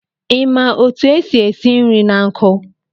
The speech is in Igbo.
I ma otu esi esi nri na nkụ?